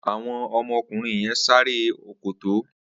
Awọn ọmọ ọkunrin yèn ṣéré òkôtó